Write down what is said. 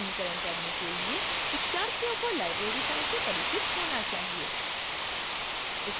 इस tutorial का अनुकरण करने के लिए शिक्षार्थियों को library science से परिचित होना चाहिए